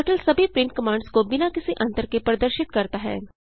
turtle सभी print commands को बिना किसी अंतर के प्रदर्शित करती हैं